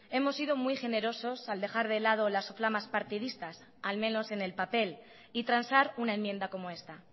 hemos sido muy generosos al dejar de lado las flamas partidistas al menos en el papel y transar una enmienda como esta